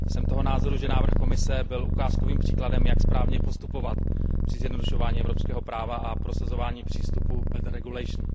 Jsem toho názoru, že návrh Komise byl ukázkovým příkladem, jak správně postupovat při zjednodušování evropského práva a prosazování přístupu better regulation.